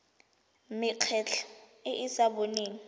mekgatlho e e sa boneng